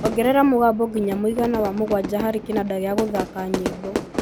ongerera mũgambo ngina mũigana wa mũgwanja hari kĩnanda gĩa gũthaaka nyimbo